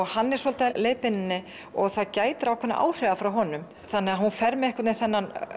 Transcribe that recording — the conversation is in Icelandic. hann er svolítið að leiðbeina henni og það gætir ákveðinna áhrifa frá honum hún fer með þennan